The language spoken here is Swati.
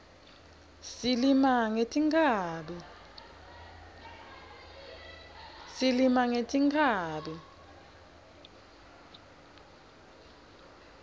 silima ngetinkhabi